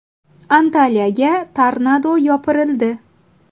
Antaliyaga tornado yopirildi .